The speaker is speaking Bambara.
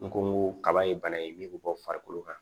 N ko n ko kaba ye bana in min bɛ bɔ farikolo kan